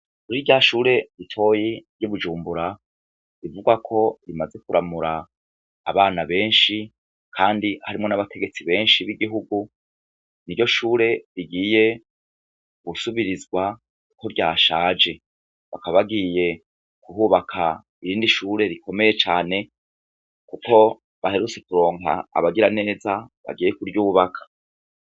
Kuri rya shure ritoya ry'ibunjumbura rivugwa ko rimaze kuramura abana benshi ,kandi harumwo n'abategetsi benshi b'igihugu niryo shure rigiye gusubirizwa ko ryashaje, bakaba bagiye kuhubaka irindi shure rikomeye cane, kuko baherutse kuronka abagiraneza bagiye kuryubaka.